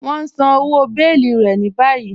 Wọn n sán ọwọ́ bèẹ̀lí rẹ̀ ní bàyìí.